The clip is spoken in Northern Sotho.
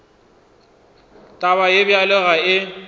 taba ye bjalo ga e